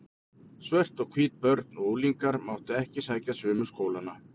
Svört og hvít börn og unglingar máttu ekki sækja sömu skólana.